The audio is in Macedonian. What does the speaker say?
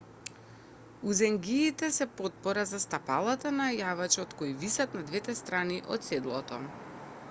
узенгиите се потпора за стапалата на јавачот кои висат на двете страни од седлото